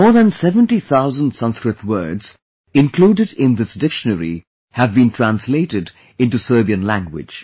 More than 70 thousand Sanskrit words included in this dictionary have been translated into Serbian language